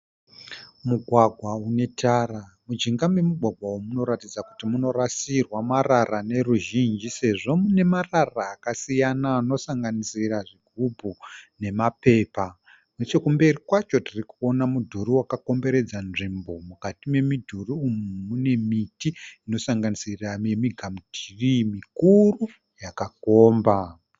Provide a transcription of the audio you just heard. Mugwagwa unetara. Mujinga memugwagwa uyu munoratidza kuti munorasirwa marara neruzhinji sezvo mune marara akasiyana anosanganisira zvigubhu nemapepa. Nechekumberi kwacho tirikuona mudhuri wakakomberedza nzvimbo. Mukati memudhuri uyu mune miti inosanganisira migamutirii mikuru yakakomba.